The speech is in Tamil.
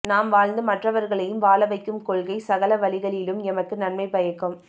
நாம் வாழ்ந்து மற்றவர்களையும் வாழவைக்கும் கொள்கை சகல வழிகளிலும் எமக்கு நன்மை பயக்கும்